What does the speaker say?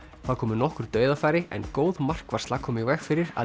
þá komu nokkur dauðafæri en góð markvarsla kom í veg fyrir að